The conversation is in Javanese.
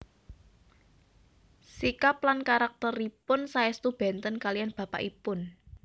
Sikap lan karakteripun saèstu benten kaliyan bapakipun